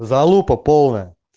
залупа полная